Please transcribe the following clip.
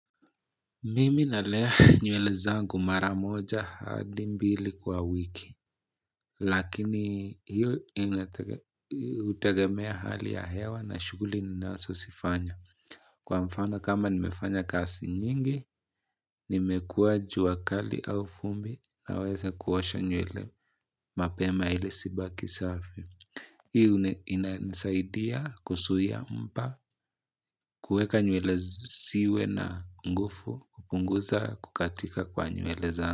Mimi nalea nywele zangu maramoja hadi mbili kwa wiki, lakini hiyo inategemea hali ya hewa na shughuli ninazozifanya. Kwa mfano kama nimefanya kazi nyingi, nimekua jua kali au vumbi niweze kuossha nywele mapema ile zibaki safi. Hii inasaidia kuzuia mpa, kueka nywele ziwe na nguvu, kupunguza kukatika kwa nywele zangu.